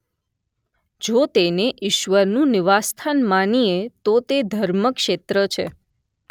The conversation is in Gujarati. જો તેને ઇશ્વરનું નિવાસસ્થાન માનીએ તો તે ધર્મક્ષેત્ર છે